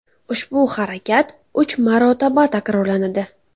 Ushbu harakat uch marotaba takrorlanadi.